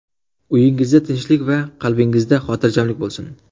Uyingizda tinchlik va qalbingizda hotirjamlik bo‘lsin.